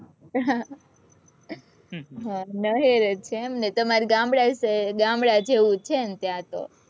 નહેર જ છે એમ ને તમારે ગામડા જેવું છે ને ત્યાં તો